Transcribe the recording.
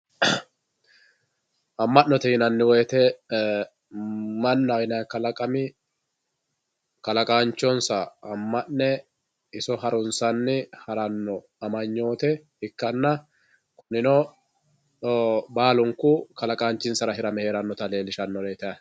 Ama'note yinanni woyte mannaho yinanni kalaqami kalaqanchonsa ama'ne iso harunsanni harano amanyote ikkanna kunino baalunku kalaqanchisara hirame heeranotta leellishanoreti yaate.